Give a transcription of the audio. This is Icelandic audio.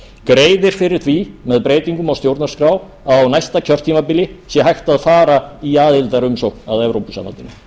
greiðir fyrir því með breytingum á stjórnarskrá að á næsta kjörtímabili sé hægt að fara í aðildarumsókn að evrópusambandinu